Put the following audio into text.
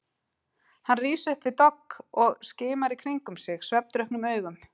Hann rís upp við dogg og skimar í kringum sig svefndrukknum augum.